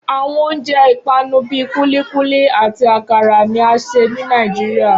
Awọn ounjẹ ipanu bii kulikuli ati akara ni a ṣe ni Níajírìà